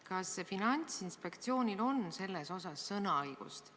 Kas Finantsinspektsioonil on selles osas sõnaõigust?